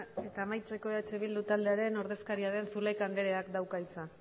eta amaitzeko eh bildu taldearen ordezkaria den zulaika andreak dauka hitza